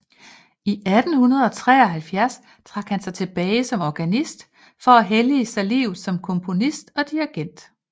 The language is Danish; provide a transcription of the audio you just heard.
I 1873 trak han sig tilbage som organist for at hellige sig livet som komponist og dirigent